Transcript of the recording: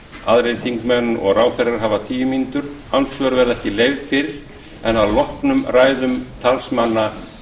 aðrir þingmenn og ráðherrar hafa tíu mínútur andsvör verða ekki leyfð fyrr en að loknum ræðum talsmanna